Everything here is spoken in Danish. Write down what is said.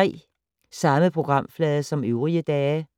Samme programflade som øvrige dage